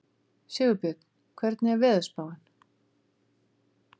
Sigurbjörn, hvernig er veðurspáin?